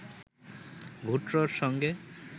ভুট্টোর সঙ্গে